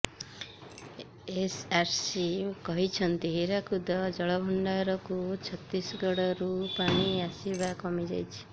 SRC କହିଛନ୍ତି ହୀରାକୁଦ ଜଳଭଣ୍ଡାରକୁ ଛତିଶଗଡ଼ରୁ ପାଣି ଆସିବା କମି ଯାଇଛି